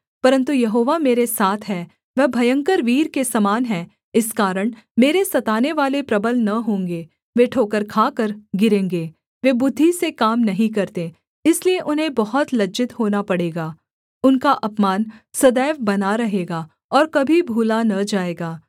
परन्तु यहोवा मेरे साथ है वह भयंकर वीर के समान है इस कारण मेरे सतानेवाले प्रबल न होंगे वे ठोकर खाकर गिरेंगे वे बुद्धि से काम नहीं करते इसलिए उन्हें बहुत लज्जित होना पड़ेगा उनका अपमान सदैव बना रहेगा और कभी भूला न जाएगा